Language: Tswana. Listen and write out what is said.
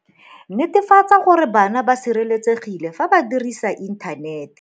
Netefatsa gore bana ba sireletsegile fa ba dirisa inthanete